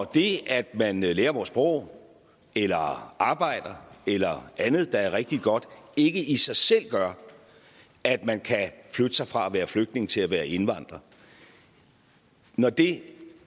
det at man lærer vores sprog eller arbejder eller andet der er rigtig godt ikke i sig selv gør at man kan flytte sig fra at være flygtning til at være indvandrer når det